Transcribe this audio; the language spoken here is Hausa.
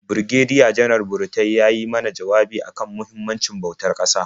Birigediya-Janar Burutai ya yi mana jawabi a kan muhimmancin bautar ƙasa.